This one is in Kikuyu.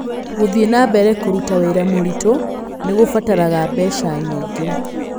Gũthiĩ na mbere kũruta wĩra mũritũ nĩ kũbataraga mbeca nyingĩ